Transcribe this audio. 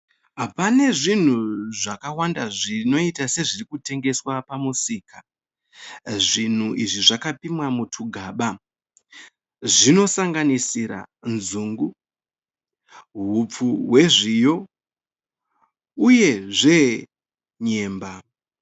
Pane zvinhu zvakawanda zvinoita sezviri kutengeswa pamusika. Zvinhu izvi zvakapimwa mutwugaba, zvinosanganisira nzungu ,hupfu hwezviyo uyezve nyemba.